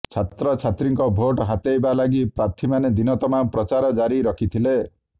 ଛାତ୍ରଛାତ୍ରୀଙ୍କ ଭୋଟ ହାତେଇବା ଲାଗି ପ୍ରାର୍ଥୀମାନେ ଦିନ ତମାମ ପ୍ରଚାର ଜାରି ରଖିଥିଲେ